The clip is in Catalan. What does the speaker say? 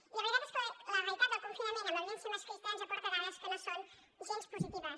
i la veritat és que la realitat del confinament amb la violència masclista ens aporta dades que no són gens positives